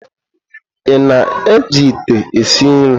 Ị na-eji ite esi nri?